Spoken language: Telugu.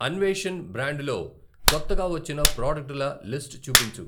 అన్వేషణ్ బ్రాండులో కొత్తగా వచ్చిన ప్రాడక్టుల లిస్టు చూపించు?